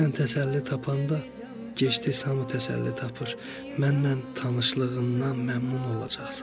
Sən təsəlli tapanda, gec-tez hamı təsəlli tapır, mənlə tanışlığından məmnun olacaqsan.